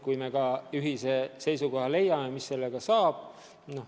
Me peame jõudma ühisele seisukohale, mis sellest saab.